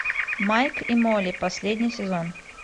майк и молли последний сезон